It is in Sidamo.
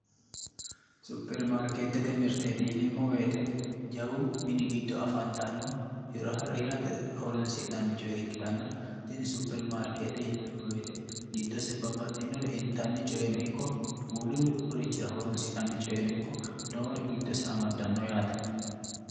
Supirimaarketete mirteti yineemmo woyte jawu mini giddo afantanno hirate horonsi'nanni coye ikkittanna tini supiriimaarkete giddose babbaxinore intanni coyenno ikko wolurichira horonsi'nannire giddose amadano yaate.